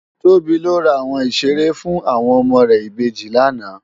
Tobi lò rá áwòn iṣéré fún áwòn òmò rè ibéjì làná